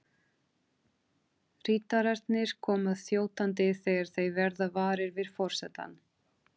Ritararnir koma þjótandi þegar þeir verða varir við forsetann.